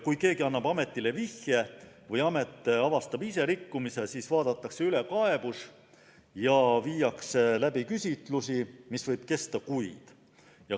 Kui keegi annab ametile vihje või amet ise avastab rikkumise, siis vaadatakse kaebus üle ja viiakse läbi küsitlusi, mis võib kesta kuid.